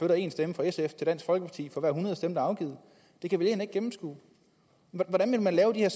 en stemme fra sf til dansk folkeparti for hver hundrede stemme der afgives det kan vælgerne ikke gennemskue hvordan vil man lave de her